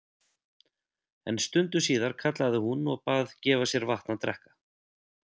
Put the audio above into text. En stundu síðar kallaði hún og bað gefa sér vatn að drekka.